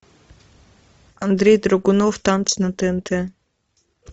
андрей драгунов танцы на тнт